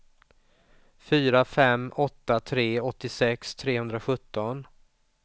fyra fem åtta tre åttiosex trehundrasjutton